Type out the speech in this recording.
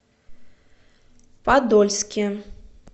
подольске